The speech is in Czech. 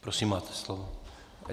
Prosím, máte slovo.